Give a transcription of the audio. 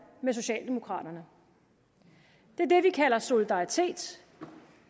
med socialdemokraterne det er det vi kalder solidaritet